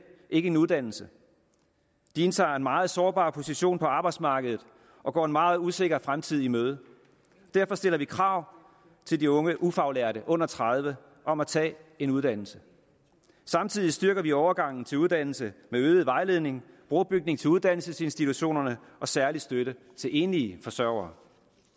ikke en uddannelse de indtager en meget sårbar position på arbejdsmarkedet og går en meget usikker fremtid i møde derfor stiller vi krav til de unge ufaglærte under tredive år om at tage en uddannelse samtidig styrker vi overgangen til uddannelse med øget vejledning brobygning til uddannelsesinstitutionerne og særlig støtte til enlige forsørgere